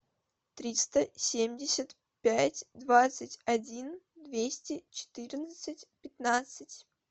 триста семьдесят пять двадцать один двести четырнадцать пятнадцать